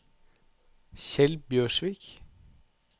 Kjeld Bjørsvik